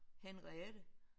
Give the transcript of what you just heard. Henriette